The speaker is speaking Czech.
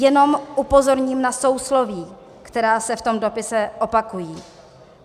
Jenom upozorním na sousloví, která se v tom dopise opakují.